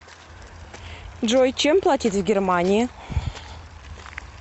джой чем платить в германии